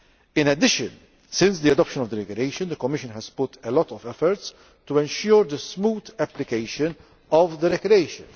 In addition, since the adoption of the Regulation, the Commission has put a lot of effort into ensuring the smooth application of the Regulation.